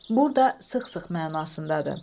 Burda sıx-sıx mənasındadır.